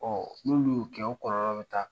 Ɔ n'olu y'o kɛ okɔlɔlɔ bɛ taa